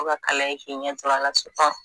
Ko ka kala ye k'i ɲɛ tur'ala sitɔ